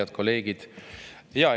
Head kolleegid!